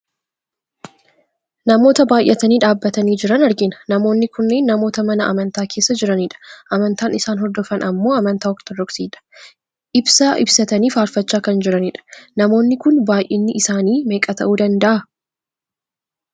Namoota baayyatanii dhaabbatanii jiran argina. Namoonni kunneen namoota mana amantaa keessa jiranidha. Amantaan isaan hordofan ammoo amantaa ortodoksidha. Ibsaa ibsatanii faarfachaa kan jiranidha. Namoonni kun baayyinni isaanii meeqa ta'uu danda'a?